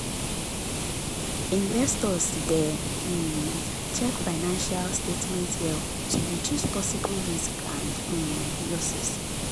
investors dey um check financial statements well to reduce possible risks and um losses